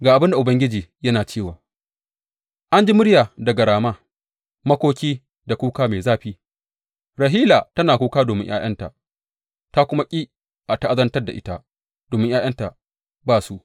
Ga abin da Ubangiji yana cewa, An ji murya daga Rama, makoki da kuka mai zafi, Rahila tana kuka domin ’ya’yanta ta kuma ƙi a ta’azantar da ita domin ’ya’yanta ba su.